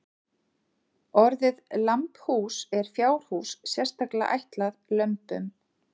Orðið lambhús er fjárhús sérstaklega ætlað lömbum.